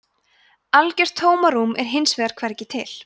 algjört tómarúm er hins vegar hvergi til